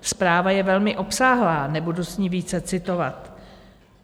Zpráva je velmi obsáhlá, nebudu z ní více citovat.